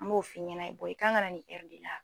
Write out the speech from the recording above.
N b'o f'i ɲɛnɛ i kan ka na nin de la.